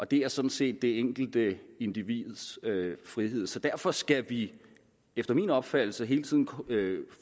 det er sådan set det enkelte individs frihed så derfor skal vi efter min opfattelse hele tiden